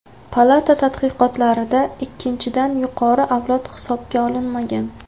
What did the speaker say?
Palata tadqiqotlarida ikkinchidan yuqori avlod hisobga olinmagan.